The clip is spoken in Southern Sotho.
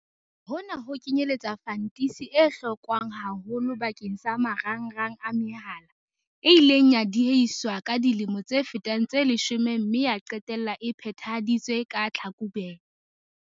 Hona ho kenyeletsa fantisi e hlokwang haholo bakeng sa marangrang a mehala, e ileng ya diehiswa ka dilemo tse fetang tse leshome mme ya qetella e phethahaditswe ka Tlhakubele.